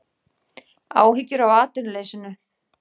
Áhyggjur af atvinnuleysinu